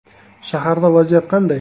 Shaharda vaziyat qanday?